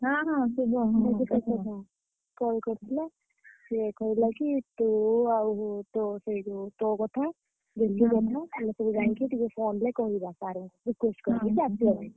ହଁ ହଁ ଶୁଭ call କରିଥିଲା। ସିଏ କହିଲା କି ତୁ ଆଉ ତୋ ସେ ଯୋଉ ତୋ କଥା କଥା ତୁମେ ସବୁ ଯାଇକି ଟିକେ କହିବ sir ଙ୍କୁ request କରିବ ।